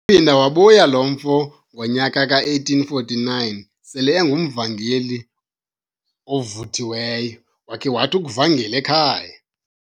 Waphinda wabuya lo mfo ngonyaka ka1849 sele engumvangeli ovuthiweyo, wakhe wathi ukuvangela ekhaya.